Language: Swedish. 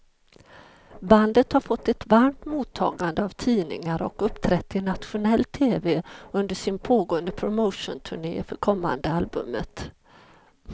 Bandet har fått ett varmt mottagande av tidningar och uppträtt i nationell tv under sin pågående promotionturné för kommande albumet.